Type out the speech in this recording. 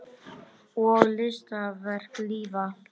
Og listaverk lifa.